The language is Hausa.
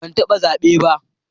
Ban taba zabe ba.